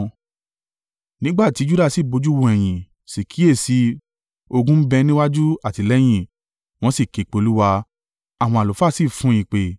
Nígbà tí Juda sì bojú wo ẹ̀yìn, sì kíyèsi i, ogun ń bẹ níwájú àti lẹ́yìn, wọn sì ké pe Olúwa, àwọn àlùfáà sì fun ìpè.